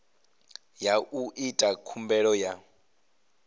ya u ita khumbelo ya